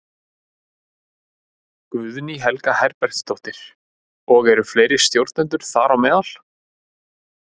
Guðný Helga Herbertsdóttir: Og eru fleiri stjórnendur þar á meðal?